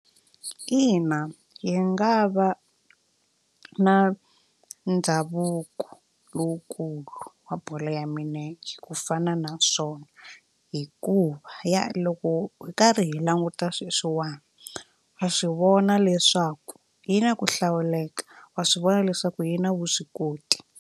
Ina yi nga va na ndhavuko lowukulu wa bolo ya milenge ku fana na swona hikuva ya loko hi karhi hi languta sweswiwani wa swi vona leswaku yi na ku hlawuleka wa swi vona leswaku yi na vuswikoti.